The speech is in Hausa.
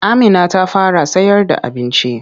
Amina ta fara sayarda abinci.